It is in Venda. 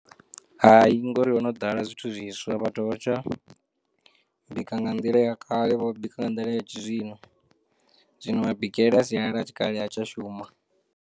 Hai ngori hono ḓala zwithu zwiswa vhathu vha tsha bika nga nḓila ya kale vho bika nga nḓila ya tshizwino zwino ma bikele a sialala ya tshikale ha tsha shuma.